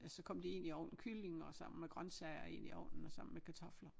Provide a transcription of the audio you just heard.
Altså så kommer de ind i ovnen kylling og sammen med grøntsager ind i ovnen og sammen med kartofler